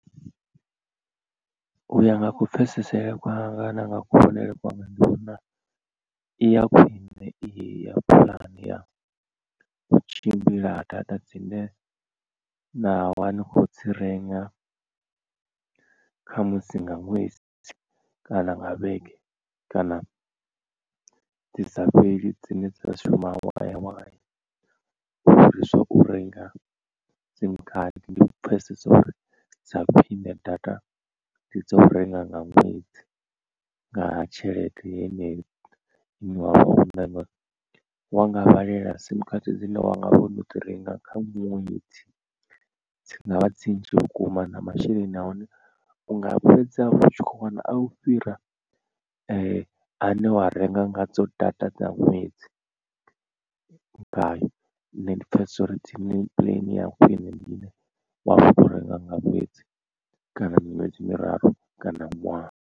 U ya nga ku pfhesesele kwanga na nga kuvhonele kwanga ndi vhona ya khwine i hei ya puḽane ya u tshimbila ha data dzine na vha ni khou dzi renga khamusi nga ṅwedzi kana nga vhege kana dzi sa fheli dzine dza shuma waya waya. U fhirisa u renga sim card ndi pfhesesa uri dza khwiṋe data ndi dzo renga nga ṅwedzi nga tshelede yeneyo ine wa vha wanga vhalela sim khadi dzine wanga vha wo no dzi renga kha ṅwedzi dzi ngavha dzi nnzhi vhukuma na masheleni a hone unga fhedza u tshi kho wana a u fhira a ne wa renga nga dzo data dza ṅwedzi ngayo nṋe ndi pfesesa uri dzi plan ya khwine ndi ine wa vha wo renga nga ṅwedzi fhedzi kana miṅwedzi miraru kana ṅwaha.